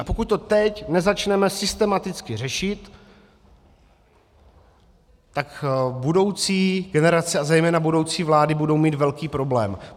A pokud to teď nezačneme systematicky řešit, tak budoucí generace a zejména budoucí vlády budou mít velký problém.